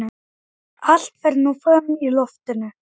Í tjaldinu varð þögn og allir litu á Sigvarð ábóta.